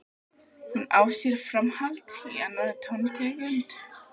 Hún á sér framhald í annarri tóntegund.